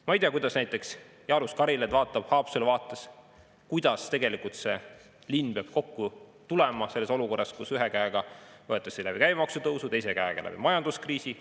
Ma ei tea, kuidas näiteks Jaanus Karilaid vaatab Haapsalu vaates, kuidas tegelikult see linn peab kokku tulema selles olukorras, kus ühe käega võetakse käibemaksu tõusu kaudu ja teise käega majanduskriisi tõttu.